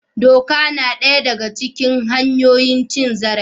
Duka na daya daga cikin hanyoyin cin zarafi